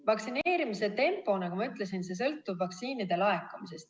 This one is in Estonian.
Vaktsineerimise tempo, nagu ma ütlesin, sõltub vaktsiinide laekumisest.